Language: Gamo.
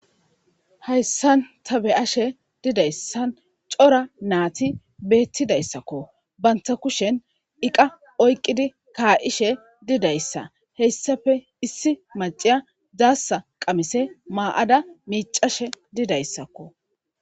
Hayisani ta beyashe dizayisan cora nati betidayisakko banitappe kushsheni iqa oyikkidi kaishe didayisa hesappe issi maccayi dasa qamise mayada miccashe didayisakko